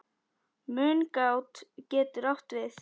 Mungát getur átt við